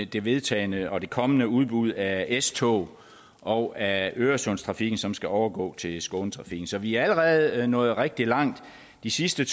det vedtagne og det kommende udbud af s tog og af øresundstrafikken som skal overgå til skånetrafikken så vi er allerede nået rigtig langt det sidste